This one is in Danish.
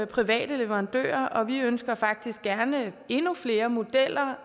private leverandører og vi ønsker faktisk gerne endnu flere modeller